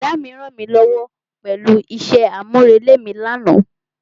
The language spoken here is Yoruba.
Brọ̀dá mi rànmílówó pẹ̀lú isẹ́ àmúrelé mi lánàá.